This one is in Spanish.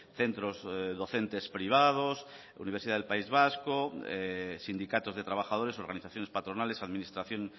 centros docentes privados universidad del país vasco sindicatos de trabajadores organizaciones patronales administración